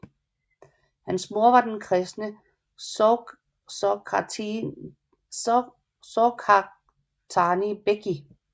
Hans mor var den kristne Sorghaghtani Beki